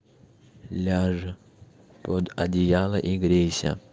ляжь под одеяло и грейся